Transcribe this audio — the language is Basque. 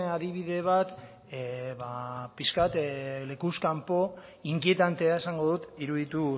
adibide bat ba pixka bat lekuz kanpo inkietantea esango dut iruditu